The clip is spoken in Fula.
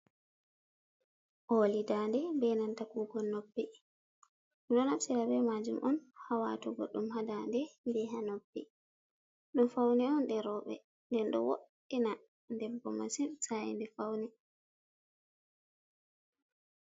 Oli dande be nanta kukon noppi, dum do naftira be majum on ha watugo dum ha dande beha noppi dum faune on je robe nde do woddina debbo masin sainbe fauni.